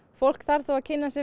fólk þarf þó að kynna sér